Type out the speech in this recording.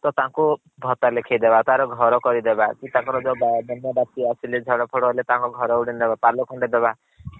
ତ ତାଙ୍କୁ ଭତ୍ତା ଲେଖେଇଦବା ତାର ଘର କରେଇ ଦବା କିମ୍ବା ତାଙ୍କର ଯୋଉ ବନ୍ୟା ବାତ୍ୟା ଆସିଲେ ଝଡ ଫଡ ହେଲେ ତାନକ୍ ଘରେ ଗୋଟେ ନୁଆ ପାଲ ଖଣ୍ଡେ ଦବା